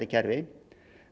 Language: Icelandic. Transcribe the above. kerfi